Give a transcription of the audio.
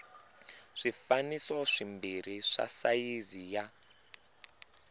swifaniso swimbirhi swa sayizi ya